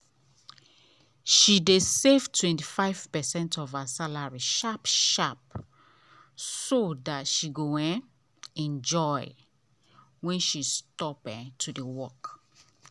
she dey save 25 percent of her salary sharp sharp so dat she go um enjoy when she stop um to work.